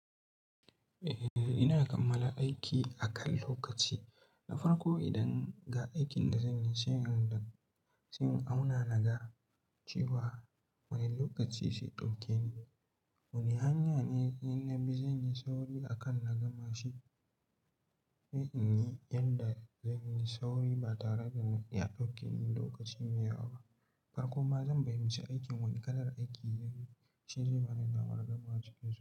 Eh, ina kammala aiki akan lokaci. Na farko idan ga aikin da zan yi, shine inda sai in auna naga cewa, wane lokaci zai ɗauke ni, wane hanya ne in na bi zan yi sauri akan na gama shi. Sai in yi yanda zan yi sauri ba tare da ya ɗauke ni lokaci mai yawa ba. Farkon ma zan fahimci aikin, wane kalar aiki zan yi, shi zai bani damar gama cikin sauki.